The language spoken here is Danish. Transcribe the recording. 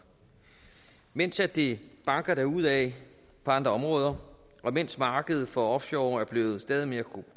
mens det banker derudaf på andre områder og mens markedet for offshore er blevet stadig mere